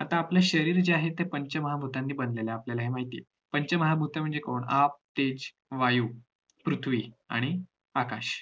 आता आपलं शरीर जे आहे ते पंचमहाभूतांनी बनलेलं आहे आपल्याला माहित आहे पंचमहाभूत म्हणजे कोण आग, तेज, वायू, पृथ्वी, आणि आकाश